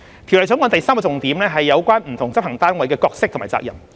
《條例草案》第三個重點是有關不同執行單位的角色和責任。